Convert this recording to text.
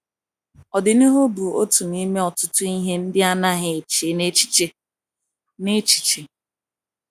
“ Ọdịnihu bụ otu n’ime ọtụtụ ihe ndị ọ naghị eche n’echiche. n’echiche. ”